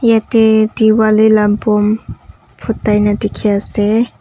yatae diwali la boom phutai na ase.